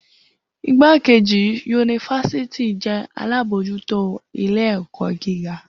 Igbakeji-yunifásítì jẹ alabojuto ile-ẹkọ giga.